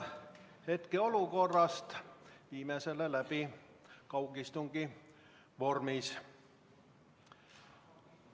Hetkeolukorrast tingituna viime selle läbi kaugistungi vormis.